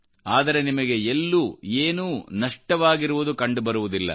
ಆದರೆ ನಿಮಗೆ ಎಲ್ಲೂ ಏನೂನಷ್ಟವಾಗಿರುವುದು ಕಂಡುಬರುವುದಿಲ್ಲ